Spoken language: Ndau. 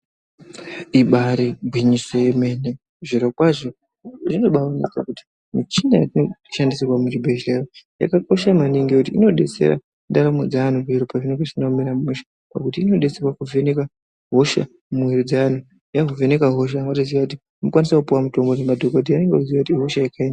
Ibaari gwinyiso yemene zvirokwazvo zvinobaaoneka kuti michina yatinoshandisirwa muchibhehleya yakakosha maningi ngekuti inodetsera ndaramo dzeanhu zviro pazvinenge zvisina kumira mushe. Pakuti inodetsera kuvheneka hosha mumwiiri dzeantu yavheneka hosha motoziya kuti maakukwanisa kupuwa mutombo nemadhogodheya motoziya kuti ihosha yekaindiyi.